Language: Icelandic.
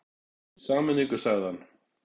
Í sameiningu sagði hann.